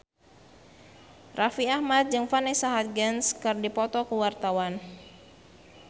Raffi Ahmad jeung Vanessa Hudgens keur dipoto ku wartawan